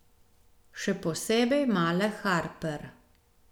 Še posebej male Harper.